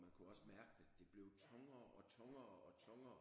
Og man kunne også mærke det det blev tungere og tungere og tungere